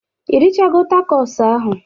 Ị richago tacos ahụ